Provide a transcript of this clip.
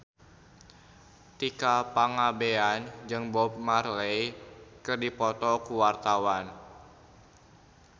Tika Pangabean jeung Bob Marley keur dipoto ku wartawan